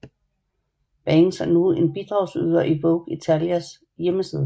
Banks er nu en bidragyder til Vogue Italias hjemmeside